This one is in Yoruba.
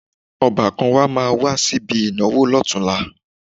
Ọbàkan wa máa wá síbi ìnáwó lọ́tunla